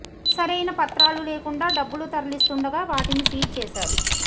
సరైన పత్రాలు లేకుండా డబ్బులు తరలిస్తుండగా వాటిని సీజ్ చేశారు